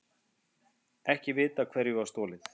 Ekki vitað hverju var stolið